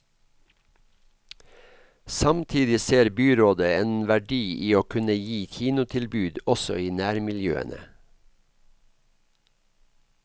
Samtidig ser byrådet en verdi i å kunne gi kinotilbud også i nærmiljøene.